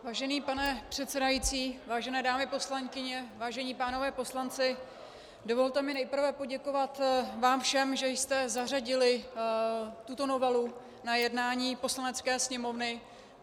Vážený pane předsedající, vážené dámy poslankyně, vážení pánové poslanci, dovolte mi nejprve poděkovat vám všem, že jste zařadili tuto novelu na jednání Poslanecké sněmovny.